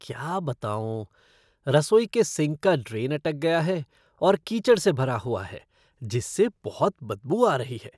क्या बताऊँ, रसोई के सिंक का ड्रेन अटक गया है और कीचड़ से भरा हुआ है जिससे बहुत बदबू आ रही है।